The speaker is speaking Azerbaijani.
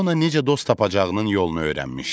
Fiona necə dost tapacağının yolunu öyrənmişdi.